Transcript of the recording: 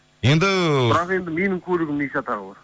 енді бірақ енді менің көлігімнің не шатағы бар